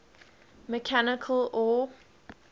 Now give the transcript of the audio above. mechanical or